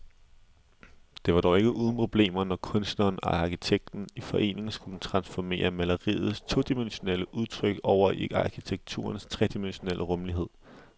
Det var dog ikke uden problemer, når kunstneren og arkitekten i forening skulle transformere maleriets todimensionelle udtryk over i arkitekturens tredimensionelle rumlighed.